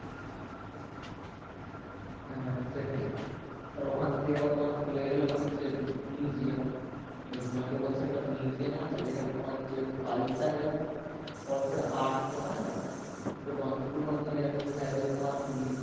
হ্যাঁ সেটাই তারপর ওখান থেকে আবার চলে গেলাম হচ্ছে museum ওই হিমাচল প্রদেশ এ একটা museum আছে যেখানে তোমার হচ্ছে culture এবং folk এর art যে হয়না সেটা তোমার হচ্ছে পুরোনো দিনের কিভাবে তোমার নি